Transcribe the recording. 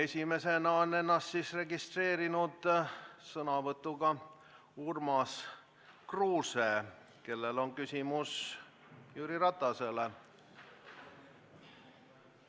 Esimesena on ennast sõnavõtuks registreerinud Urmas Kruuse, kellel on küsimus Jüri Ratasele.